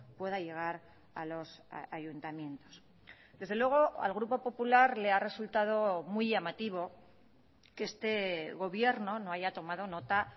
pueda llegar a los ayuntamientos desde luego al grupo popular le ha resultado muy llamativo que este gobierno no haya tomado nota